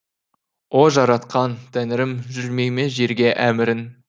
о жаратқан тәңірім жүрмей ме жерге әмірің